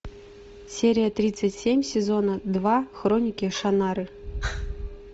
серия тридцать семь сезона два хроники шаннары